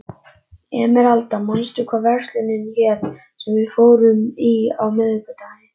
Emeralda, manstu hvað verslunin hét sem við fórum í á miðvikudaginn?